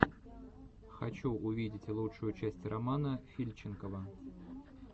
хочу увидеть лучшую часть романа фильченкова